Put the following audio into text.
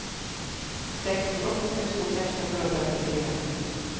sekstiåtte tusen seks hundre og trettifire